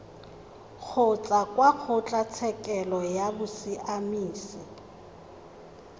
kgotsa kwa kgotlatshekelo ya bosiamisi